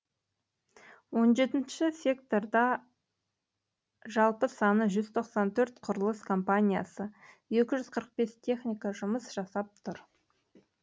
он жетінші секторда секторда жалпы саны жүз тоқсан төрт құрылыс компаниясы екі жүз қырық бес техника жұмыс жасап тұр